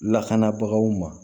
Lakanabagaw ma